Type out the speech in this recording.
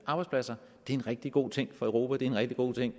arbejdspladser det er en rigtig god ting for europa det er en rigtig god ting